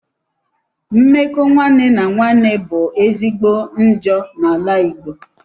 Mmekọ nwanne na nwanne bu ezigbo njọ na ala igbo